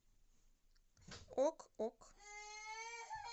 ок ок